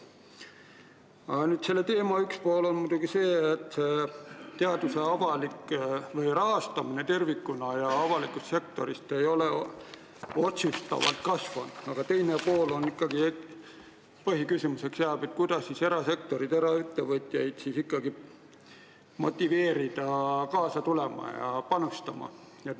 Selle teema üks pool on muidugi see, et teaduse rahastamine tervikuna ja rahastamine avalikust sektorist ei ole otsustavalt kasvanud, aga põhiküsimuseks jääb, kuidas ikkagi eraettevõtjaid motiveerida kaasa tulema ja panustama.